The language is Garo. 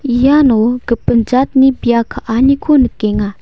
iano gipin jatni bia ka·aniko nikenga.